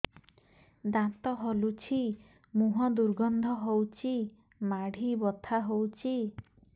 ଦାନ୍ତ ହଲୁଛି ମୁହଁ ଦୁର୍ଗନ୍ଧ ହଉଚି ମାଢି ବଥା ହଉଚି